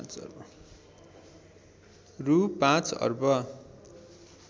रु ५ अर्ब